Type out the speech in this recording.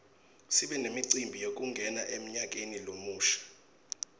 sibe nemicimbi yekungena emnyakeni lomusha